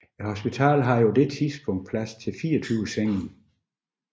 Hospitalet havde på dette tidspunkt plads til 24 senge